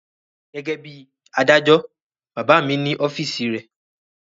Gẹ́gẹ́ bí i adájọ́, bàbá mi ní ọ́fíísì rẹ̀.